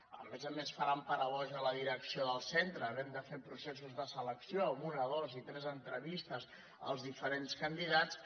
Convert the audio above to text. a més a més faran parar boja la direcció del centre havent de fer proces·sos de selecció amb una dues i tres entrevistes als di·ferents candidats